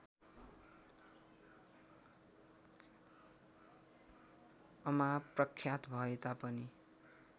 अमा प्रख्यात भएतापनि